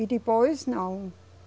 E depois, não.